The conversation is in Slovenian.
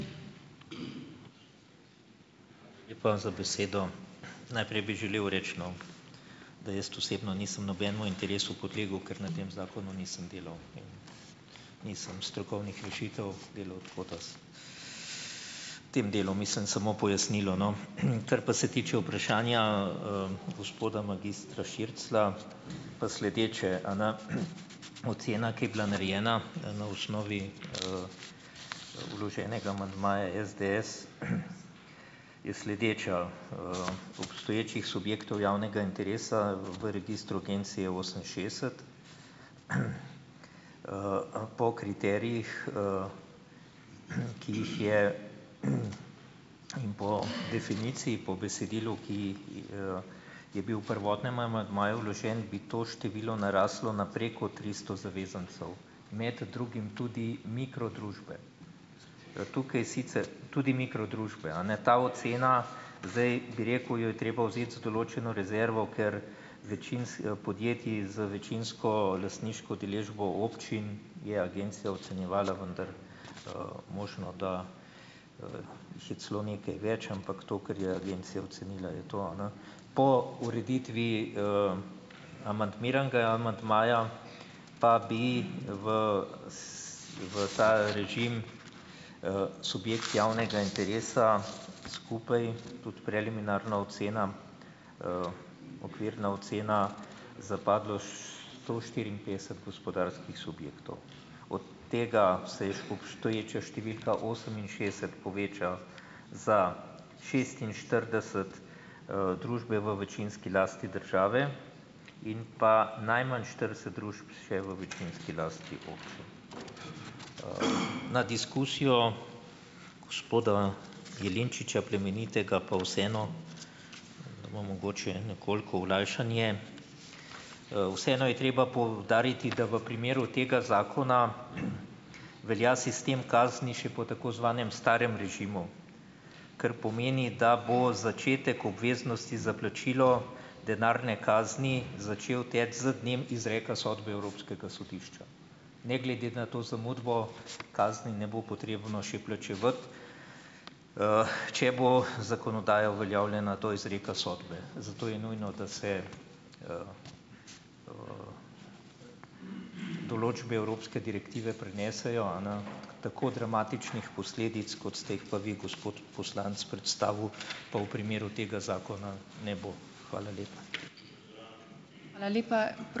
Hvala za besedo. Najprej bi želel reči, no, da jaz osebno nisem nobenemu interesu podlegel, ker na tem zakonu nisem delal, nisem strokovnih rešitev delal, tako da, v tem delu mislim samo pojasnilo, no. Kar pa se tiče vprašanja, gospoda magistra Širclja, pa sledeče, a ne. Ocena, ki je bila narejena na osnovi, vloženega amandmaja SDS, je sledeča, Obstoječih subjektov javnega interesa v registru agencije je oseminšestdeset. Po kriterijih, ki jih je, in po definiciji , po besedilu, ki, je bil v prvotnem amandmaju vložen, bi to število naraslo na preko tristo zavezancev, med drugim tudi mikrodružbe. Tukaj sicer. Tudi mikrodružbe, a ne. Ta ocena zdaj, bi rekel, jo je treba vzet z določeno rezervo, ker podjetij z večinsko lastniško udeležbo občin je agencija ocenjevala, vendar, možno, da je celo nekaj več, ampak to, kar je agencija ocenila, je to en. Po ureditvi, amandmiranega amandmaja pa bi v v ta režim, subjekt javnega interesa skupaj, tudi preliminarna ocena, okvirna ocena, zapadlo sto štiriinpetdeset gospodarskih subjektov. Od tega se je obstoječa številka oseminšestdeset poveča za šestinštirideset, družbe v večinski lasti države in pa najmanj štirideset družb še v večinski lasti občin .. Na diskusijo gospoda Jelinčiča Plemenitega pa vseeno mogoče nekoliko olajšanje. Vseeno je treba poudariti, da v primeru tega zakona velja sistem kazni še po tako zvanem starem režimu, kar pomeni, da bo začetek obveznosti za plačilo denarne kazni začel teči z dnem izreka sodbe Evropskega sodišča. Ne glede na to zamudo kazni ne bo potrebno še plačevati, če bo zakonodaja uveljavljena do izreka sodbe. Zato je nujno, da se določbe evropske direktive prenesejo, a ne. Tako dramatičnih posledic, kot ste jih pa vi gospod poslanec predstavil, pa v primeru tega zakona ne bo. Hvala lepa.